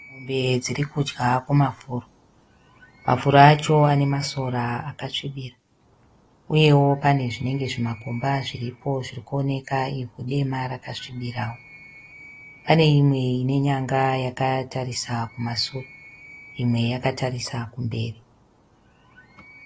Mombe dziri kudya kumafuro. Mafuro acho ane masora akasvibira uyewo pane zvinenge zvimakomba zviripo zvirikuoneka ivhu dema rakasvibirawo. Pane imwe ine nyanga yakatarisa kumashure imwe yakatarisa kumberi.